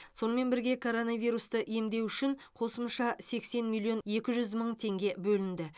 сонымен бірге коронавирусті емдеу үшін қосымша сексен миллион екі жүз мың теңге бөлінді